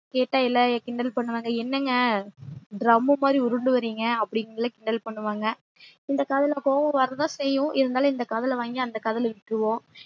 கேட்டா எல்லாம் கிண்டல் பன்னுவாங்க என்னங்க drum மாறி உருண்டு வரிங்க அப்டி சொல்லி கிண்டல் பண்ணுவாங்க இந்த காதுல கோவம் வர தான் செய்யும் இருந்தாலும் இந்த காதுல வாங்கி அந்த காதுல விட்டுருவொம்